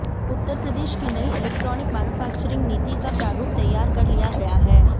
उत्तर प्रदेश की नई electronic manufacturing नीति का प्रारूप तैयार कर लिया गया है